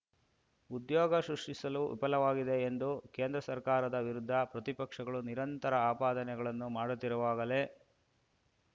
ಉದ್ಯೋಗ ಸೃಷ್ಟಿಸಲು ವಿಫಲವಾಗಿದೆ ಎಂದು ಕೇಂದ್ರ ಸರ್ಕಾರದ ವಿರುದ್ಧ ಪ್ರತಿಪಕ್ಷಗಳು ನಿರಂತರ ಆಪಾದನೆಗಳನ್ನು ಮಾಡುತ್ತಿರುವಾಗಲೇ